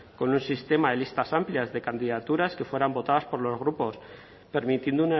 con un sistema de listas amplias de candidaturas que fueran votadas por los grupos permitiendo